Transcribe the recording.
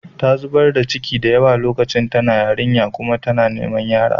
Ta zubar da ciki da yawa lokacin da tana yarinya kuma yanzu tana niman yara.